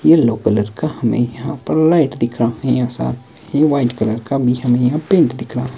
yellow colour का हमें यहां पर लाइट दिख रहा है और साथ में वाइट कलर का भी हमें यहां पेंट दिख रहा --